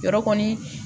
Yɔrɔ kɔni